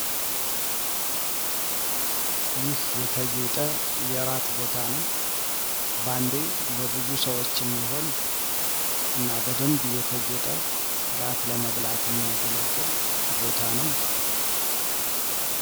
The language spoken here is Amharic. ይህ የተጌጠ የራት ቦታ ነው። ባንዴ ለብዙ ሰዎች የሚሆን እና በደብ የተጌጠ እራት ለመብላት የሚያገለግል ቦታ ነው።